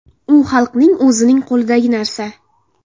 U xalqning o‘zining qo‘lidagi narsa.